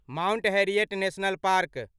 Mount Harriet National park